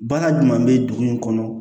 Baara jumɛn bɛ dugu in kɔnɔ